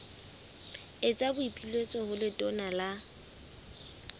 etsa boipiletso ho letona la